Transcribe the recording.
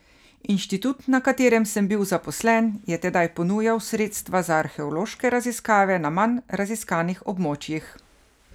Inštitut, na katerem sem bil zaposlen, je tedaj ponujal sredstva za arheološke raziskave na manj raziskanih območjih.